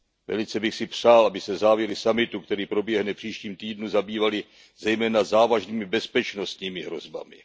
Velice bych si přál, aby se závěry summitu, který proběhne v příštím týdnu, zabývaly zejména závažnými bezpečnostními hrozbami.